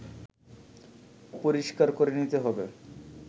পরিষ্কার করে নিতে হবে